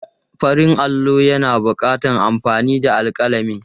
Farin allo yana buƙatar amfani da alƙalami.